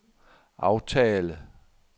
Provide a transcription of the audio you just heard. aftale